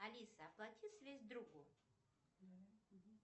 алиса оплати связь другу